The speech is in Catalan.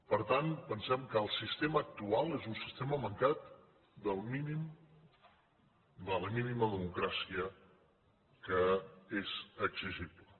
per tant pensem que el sistema actual és un sistema man cat de la mínima democràcia que és exigible